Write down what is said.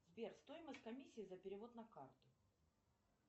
сбер стоимость комиссии за перевод на карту